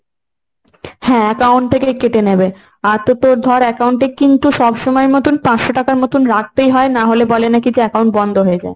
হ্যাঁ account থেকে কেটে নেবে, আর তো তোর ধর account এ কিন্তু সবসময় মতন পাঁচশো টাকা মতন রাখতেই হয়। না হলে বলে নাকি যে account বন্ধ হয়ে যায়।